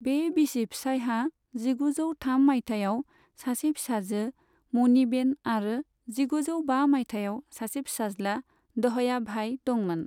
बे बिसि फिसायहा जिगुजौ थाम माइथायाव सासे फिसाजो, मणिबेन आरो जिगुजौ बा माइथायाव सासे फिसाज्ला, दहयाभाई दंमोन।